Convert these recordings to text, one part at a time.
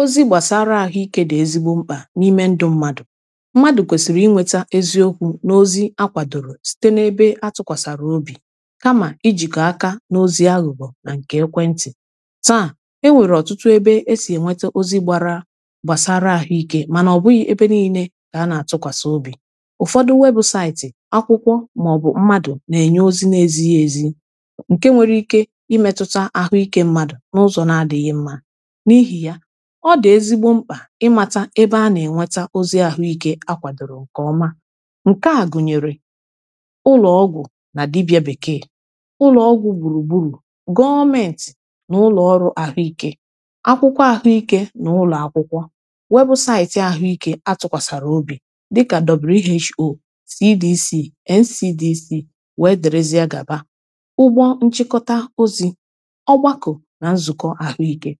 ozi gbasara ahụike dị ezigbo mkpa n’ime ndụ mmadụ mmadụ kwesiri inweta eziokwu n’ozi akwadoro site n’ebe atụkwasara obi kama ijikọ aka n’ozi aghụghọ nà nke ekwe ntị taa enwere ọtụtụ ebe esi enwete ozi gbasara ahụike mana ọbụghị ebe nile ka a na-atụkwasị obi ụfọdụ webụsaịtị akwụkwọ ma ọ bụ mmadụ na-enye ozi na-ezighi ezi nke nwere ike imetụta ahụike mmadụ n’ụzọ na-adịghị mma ịmata ebe a na-enweta ozi ahụike akwadoro nke ọma nke a gụnyere ụlọọgwụ na dibịa bekee ụlọọgwụ gburugburu gọọmenti na ụlọọrụ ahụike akwụkwọ ahụike na ụlọakwụkwọ webụsaịtị ahụike atụkwasara obi dịka who edc nsdc wee derezie ga ba ụgbọ nchikọta ozi ọgbakọ na nzụkọ ahụike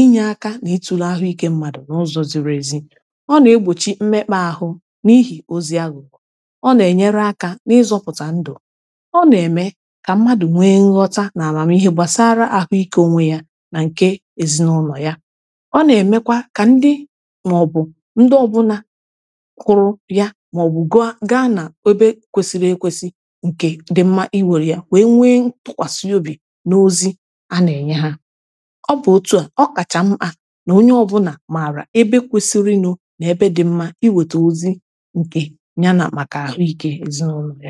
ịnyeaka n’itụlu ahụike mmadụ n’ụzọ ziri ezi ọ na-egbochi mmekpa ahụ n’ihi ozi ahụ ọ na-enyere aka n’ịzọpụta ndụ ọ na-eme ka mmadụ nwee nghọta na amamihe gbasara ahụike onwe ya na nke ezinaụlọ ya ọ na-emekwa ka ndị maọbụ ndị ọbụna kụrụ ya maọbụ gaa na obe kwesiri ekwesi nke dị mma iwere ya wee nwee tụkwasị obi n’ozi a na-enye ha o kacha m a na onye ọbụla mara ebe kwesirinu n'ebe dị mma iweta ozi nke ya na maka ahụike ezinaụlọ ya